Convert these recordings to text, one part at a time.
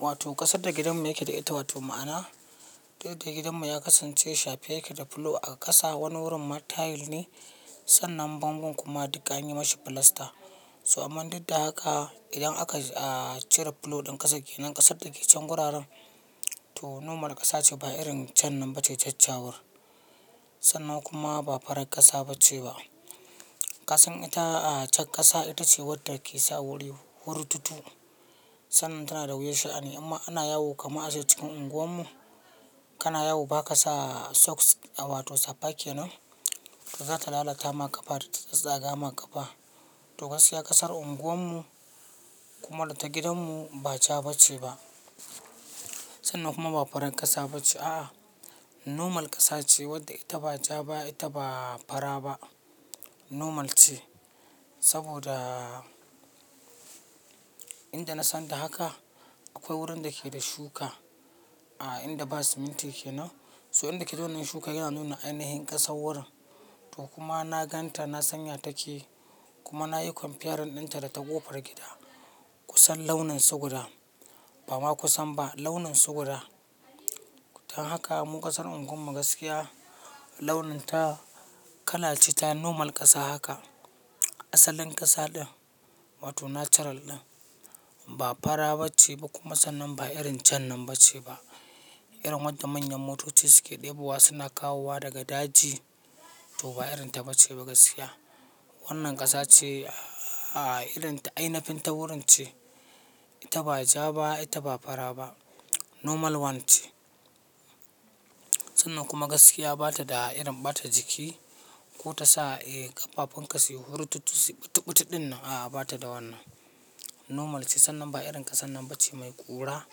Wato ƙasar da gidanmu yake da ita, wato ma'ana duk da gidanmu ya kasance shafi yake da fulo a ƙasa, wani wurin ma tile ne, sannan bango kuma duka anyi mashi filasta. So aman duk da haka idan aka cire fulo ɗin ƙasa kenan ƙasar da ke can wuraren to normal ƙasa ce ba irin can nan ba ce ta cawar. Sannan kuma ba farar ƙasa ba ce ba. Ƙasan ita a jaj ƙasa ita ce wadda ke sa wuri hurrutu. Sannan tana da wuyar sha'ani amma ana yawo kamun aje cikin unguwarmu kana yawo ba ka sa socks a wato safa ke nan ta za ta lalata ma ƙafa da ta tsaga ma ƙafa. To gaskiya ƙasar unguwarmu kuma ta gidanmu ba ca ba ce ba. Sannan kuma ba farar ƙasa ba ce. A'a normal ƙasa ce wadda ita ba ca ba ita ba fara ba normal ce. Saboda inda na san da haka akwai wurin da ke da shuka a inda ba siminti ke nan. So inda ke da wannan shuka yana nuna ainihin ƙasan wurin to kuma na ganta na sanya take kuma na yi comparison dinta da ta ƙofar gida kusan launin su guda bama kusan ba launin su guda. Dan haka mu ƙasar unguwarmu gaskiya launin ta kala ce ta normal ƙasa haka. Asalin ƙasa din wato natural din ba fara ba ce ba kuma sannan ba irin jan nan ba ce ba. Irin wadda manyan motoci suke ɗebowa suna kawowa daga daji to ba irin ta ba ce ba gaskiya. Wannan ƙasa ce a'a irin ta ainafin ta wurin ce. Ita ba ja ba ita ba fara ba normal one ce. Sannan kuma gaskiya ba ta da irin ɓata jiki ko ta sa eh ƙafafen ka suyi hurrutu siɓiɓiɓiɗin nan a'a ba ta da wannan. Normal ce sannan ba irin ƙasan nan ba ce mai ƙura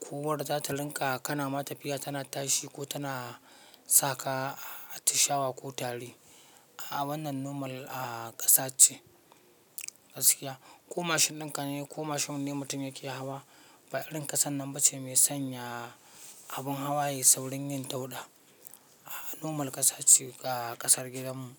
ko wadda za ta linka kana ma tafiya tana tashi ko tana saka ta shawa ko tari. A wannan normal a ƙasa ce gaskiya. Ko mashin ɗinka ne kuma shin wanne mutum yake hawa ba irin ƙasan nan ba ce mai sanya abun hawa yayi saurin yin dauɗa. Normal ƙasa ce ga ƙasar gidanmu.